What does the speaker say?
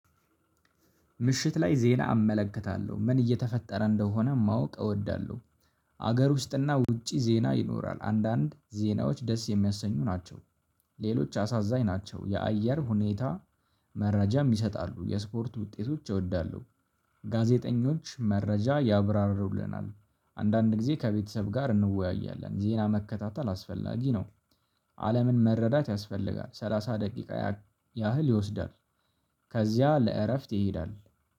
ምሽት ላይ ዜና አመለክታለሁ ምን እየተፈጠረ እንደሆነ ማወቅ እወዳለሁ። ሀገር ውስጥና ውጪ ዜና ይኖራል አንዳንድ ዜናዎች ደስ የሚያሰኙ ናቸው። ሌሎች አሳዛኝ ናቸው የአየር ሁኔታ። መረጃ ይሰጣሉ የስፖርት ውጤቶች እወዳለሁ። ጋዜጠኞች መረጃ ያብራርቡልናል። አንዳንድ ጊዜ ከቤተሰብ ጋር እንወያያለን ዜና መከታተል አስፈላጊ ነው። አለምን መረዳት ያስፈልጋል ሰላሳ ደቂቃ ያህል ይወስዳል። ከዚያ ለእረፍት ይሄዳል